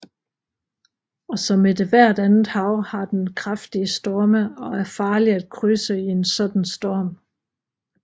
Og som ethvert andet hav har den kraftige storme og er farlig at krydse i en sådan en storm